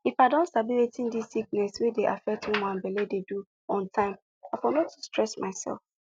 if i don sabi wetin dis sickness wey dey affect woman belle de do on time i for no too stress myself